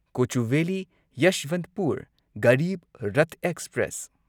Kochuveli Yesvantpur Garib Rath express